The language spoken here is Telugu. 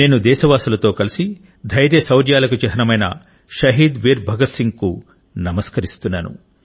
నేను దేశవాసులతో కలిసి ధైర్యశౌర్యాలకు చిహ్నమైన షహీద్ వీర్ భగత్ సింగ్ కు నమస్కరిస్తున్నాను